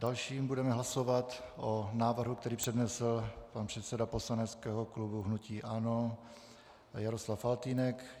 Dále budeme hlasovat o návrhu, který přednesl pan předseda poslaneckého klubu hnutí ANO Jaroslav Faltýnek.